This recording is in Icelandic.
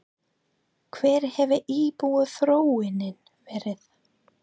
Hver hefur íbúaþróunin verið?